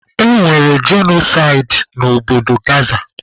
E nwere jenosaidi na obodo Gaza.